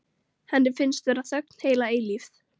Henni finnst vera þögn heila eilífð.